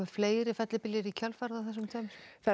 fleiri fellibyljir í kjölfarið það er